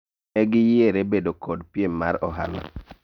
ne giyiere bedo kod piem mar ohala